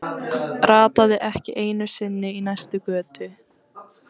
Rataði ekki einu sinni í næstu götu!